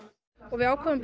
við ákváðum